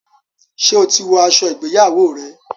ṣe o tí wò aṣọ ìgbéyàwó rẹ?